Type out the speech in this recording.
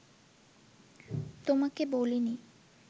তোমাকে বলিনি